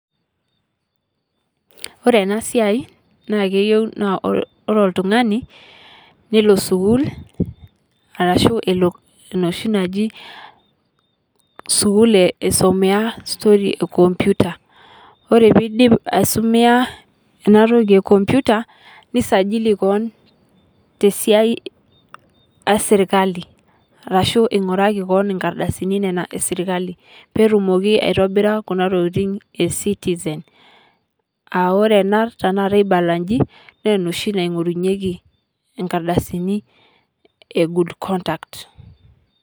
Ore ena siai naa keiyeu naa ore oltung'ani neloo sukuul arashu neloo noshii najii e sukuul eisomea story ekompyuta ore pii idiip aisomea ena ntoki ekompyuta nisajili koon te siai e sirkali arashu ing'oraki koon enkaardasini nena esirkali pee etumoki aitobira kuna ntokitin e citizen. Aore ena tana kaata aipalaajii naa neoshii neing'urunyeki nkaardasini e good conduct.